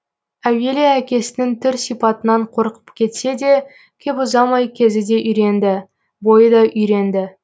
әуелі әкесінің түр сипатынан қорқып кетсе де кеп ұзамай кезі де үйренді бойы да үйренді